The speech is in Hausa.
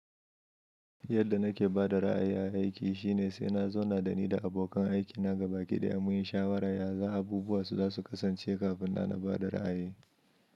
Yadda na ke ba da ra’ayi a aiki shine sai na zauna da ni da abokan aikina gabaki ɗaya mun yi shawarar ya abubuwa su za su kasance kafin nan na ba da ra’ayi.